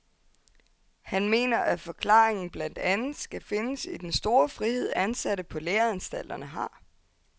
Han mener, at forklaringen blandt andet skal findes i den store frihed, ansatte på læreanstalterne har.